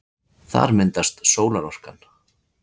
Þar myndast sólarorkan.